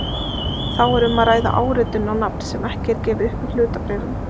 Þá er um að ræða áritun á nafn sem ekki er gefið upp í hlutabréfinu.